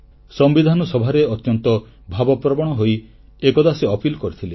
ସମ୍ବିଧାନ ସଭାରେ ଅତ୍ୟନ୍ତ ଭାବପ୍ରବଣ ହୋଇ ଏକଦା ସେ ନିବେଦନ କରିଥିଲେ